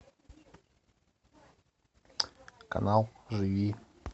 канал живи